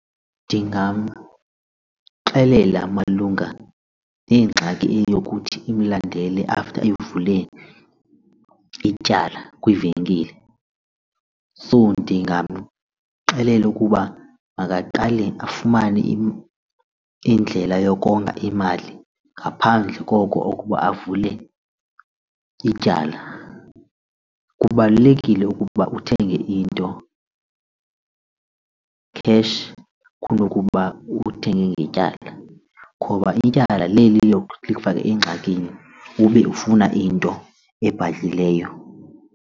Ndingamxelela malunga nengxaki eyokuthi amlandele after evule ityala kwivenkile. So ndingamxelela ukuba makaqale afumane indlela yokonga imali ngaphandle koko okuba avule ityala. Kubalulekile ukuba uthenge into cash kunokuba uthenge ngetyala ngoba ityala leli engxakini ube ufuna into ebhadlileyo.